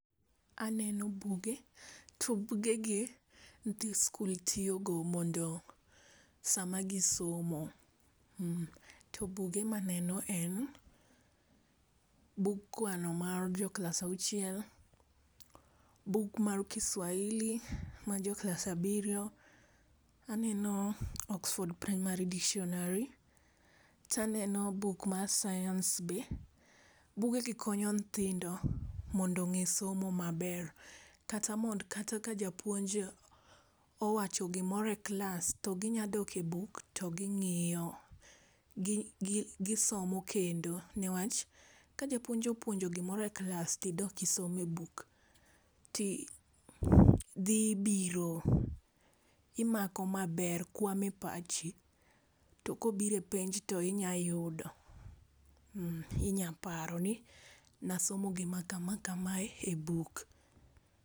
Aneno buge, to buge gi nyithind skul tiyo go, mondo sa ma gi somo. To buge ma aneno en bug kwano mar jo klasa auchiel ,buk mar kiswahili mar klas abirio, aneno oxford primary dictionary ,to aneno buk mar sayans be, buge gi konyo nyithindo mondo onge somo ma ber. Kata mondo kata ka japuonj owacho gi moro e klas to gi nya dok e buk to gi ng'iyo. Gi so mo kendo ne wach ka jauponj opuonjo gi moro e klas to idok isomo e buk ti dhi biro imako ma ber ,kwamo e pachi to ko obiro e penj to inya yudo, inya paro ni na asomo gi ma kama kama e buk.